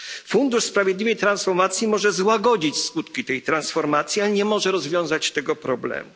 Fundusz na rzecz Sprawiedliwej Transformacji może złagodzić skutki tej transformacji, ale nie może rozwiązać tego problemu.